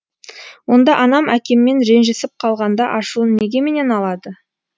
онда анам әкеммен ренжісіп қалғанда ашуын неге менен алады